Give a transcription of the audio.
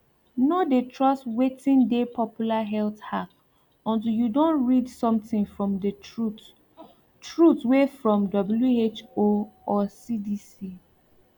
no de trust wetin de popular health hack untill you don read something from de truth truth wey from who or cdc